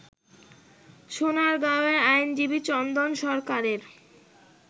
সোনারগাঁওয়ে আইনজীবী চন্দন সরকারের